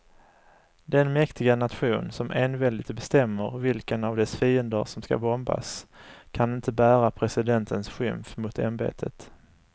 Den mäktiga nation som enväldigt bestämmer vilka av dess fiender som ska bombas kan inte bära presidentens skymf mot ämbetet.